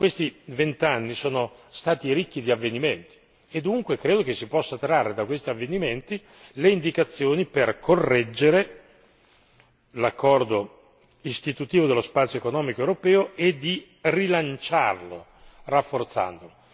Questi vent'anni sono stati ricchi di avvenimenti e, dunque, credo che si possano trarre da questi avvenimenti le indicazioni per correggere l'accordo istitutivo dello spazio economico europeo e di rilanciarlo, rafforzandolo.